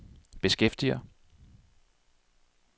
beskæftiger